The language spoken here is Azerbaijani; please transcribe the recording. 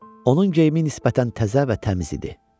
Onun geyimi nisbətən təzə və təmiz idi.